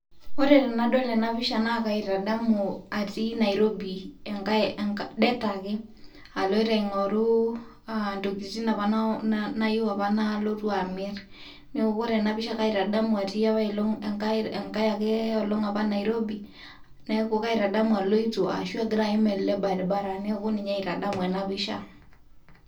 ore tenadol ena pisha, naa kaitadamu atii nairobi det ake, aloito aing'oru intokitin apa nayewuo amir. neeku ore ena pisha kaitadamu enkae olong apaelong nairobi, neeku kaitadamu aloito, ashu agira aim ele baribara. neeku ninye aitadamu ena pisha.